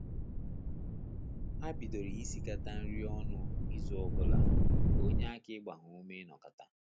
Ha bidoro isikata nri ọnụ izu obula, ka onyeaka ịgba ha ume inokata